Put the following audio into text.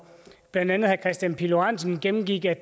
blandt andet herre kristian pihl lorentzen gennemgik at